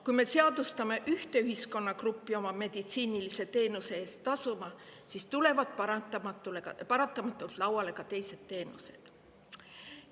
Kui me ühe ühiskonnagrupi meditsiiniteenuste eest ise tasuma, siis paratamatult tulevad lauale ka teised teenused.